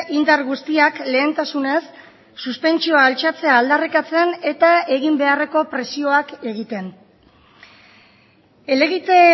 indar guztiak lehentasunez suspentsioa altxatzea aldarrikatzen eta egin beharreko presioak egiten helegite